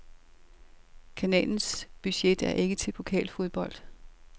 Kanalens budget er ikke til pokalfodbold.